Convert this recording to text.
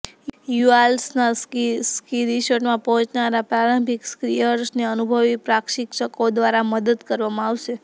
યુઆરલ્સના ski રિસોર્ટમાં પહોંચનારા પ્રારંભિક સ્કીઅર્સને અનુભવી પ્રશિક્ષકો દ્વારા મદદ કરવામાં આવશે